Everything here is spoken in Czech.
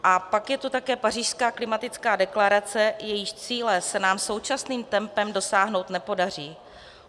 A pak je to také pařížská klimatická deklarace, jejíž cíle se nám současným tempem dosáhnout nepodaří.